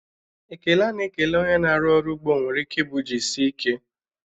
Ekele a na-ekele onye na-arụ ọrụ ugbo nwere ike ịbụ "jisie ike"